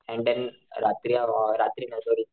and देणं रात्री अ रात्री नाही सॉरी,